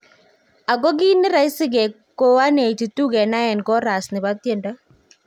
Ako kiit ne raisi ko 182 kenai en koras nebo tiendo